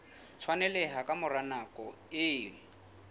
tshwaneleha ka mora nako e